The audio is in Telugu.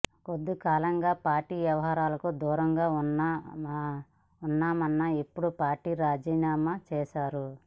కొద్దికాలంగా పార్టీ వ్యవహారాలకు దూరంగా ఉన్న యెన్నం ఇప్పుడు పార్టీకి రాజీనామా చేశారు